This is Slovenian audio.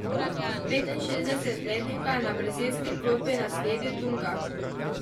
Petinšestdesetletnika je na brazilski klopi nasledil Dunga.